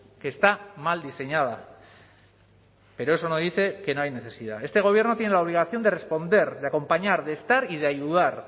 que está mal diseñada pero eso no dice que no hay necesidad este gobierno tiene la obligación de responder de acompañar de estar y de ayudar